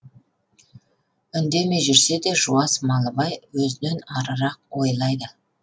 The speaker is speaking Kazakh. үндемей жүрсе де жуас малыбай өзінен арырақ ойлайды